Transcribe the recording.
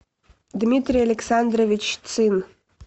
дмитрий александрович цин